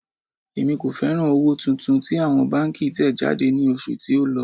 Èmi kò fẹ́ràn owó tuntun tí àwọn báńkì tẹ̀ jáde ní oṣù tí ó lọ.